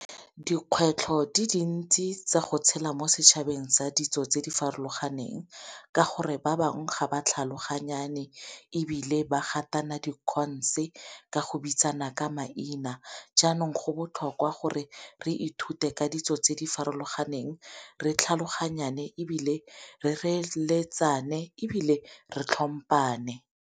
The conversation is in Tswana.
Dikgwetlho di dintsi tsa go tshela mo setšhabeng sa ditso tse di farologaneng ka gore ba bangwe ga ba tlhaloganyane, ebile ba gatana dikhonse ka go bitsana ka maina. Jaanong go botlhokwa gore re ithute ka ditso tse di farologaneng re tlhaloganyane ebile re reeletsane ebile re tlhomphane.